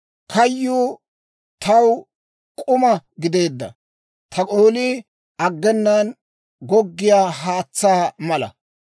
Kayyuu taw k'uma gideedda; ta oolii aggenaan goggiyaa haatsaa mala.